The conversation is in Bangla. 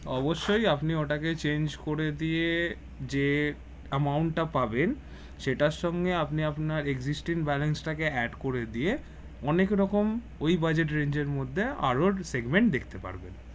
অবশ্যই আপনি ওটাকে change করে দিয়ে যে amount টা পাবেন সেটার সঙ্গে আপনি আপনার existing balance টাকে add করে দিয়ে অনেক রকম ঐ budget range মধ্যে আরো segment দেখতে পারবেন